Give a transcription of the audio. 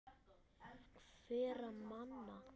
Hverra manna?